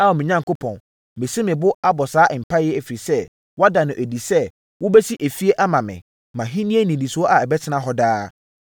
“Ao me Onyankopɔn, masi me bo abɔ saa mpaeɛ yi, ɛfiri sɛ, woada no adi sɛ wobɛsi fie ama me, mʼahennie nnidisoɔ a ɛbɛtena hɔ daa.